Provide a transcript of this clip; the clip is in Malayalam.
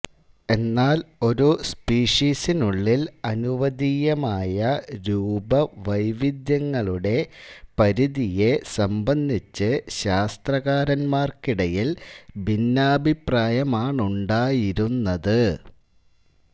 എന്നാൽ ഒരു സ്പീഷീസിനുള്ളിൽ അനുവദനീയമായ രൂപവൈവിധ്യങ്ങളുടെ പരിധിയെ സംബന്ധിച്ച് ശാസ്ത്രകാരന്മാർക്കിടയിൽ ഭിന്നാഭിപ്രായമാണുണ്ടായിരുന്നത്